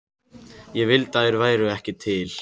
Ég vildi að þeir væru ekki til.